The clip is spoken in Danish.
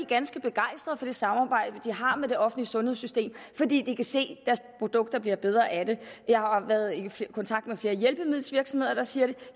ganske begejstrede for det samarbejde som de har med det offentlige sundhedssystem fordi de kan se at deres produkter bliver bedre af det jeg har været i kontakt med flere hjælpemiddelvirksomheder der siger det